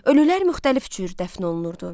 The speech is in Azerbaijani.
Ölülər müxtəlif cür dəfn olunurdu.